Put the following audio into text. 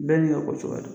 Bɛɛ n'i ka ko cogoya don